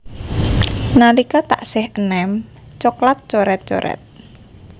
Nalika taksih eném coklat coret coret